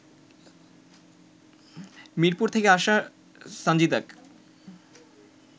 মিরপুর থেকে আসা সানজিদাক